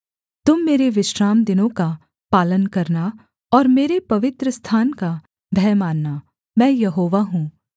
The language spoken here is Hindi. तुम मेरे विश्रामदिनों का पालन करना और मेरे पवित्रस्थान का भय मानना मैं यहोवा हूँ